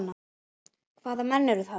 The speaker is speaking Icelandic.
Hvaða menn eru það?